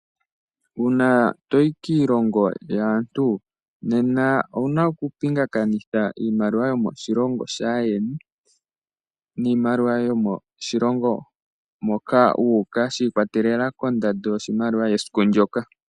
Uuna toyi kiilongo yaantu, nena owuna oku pingakanitha iimaliwa yomoshilongo shaayeni niimaliwa yomoshilongo moka wu uka, shi ikwatelela kondando yoshimaliwa yesiku ndoka.